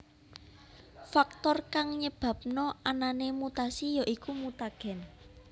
Faktor kang nyebabna anané mutasi ya iku mutagen